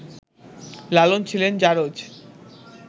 লালন ছিলেন ‘জারজ’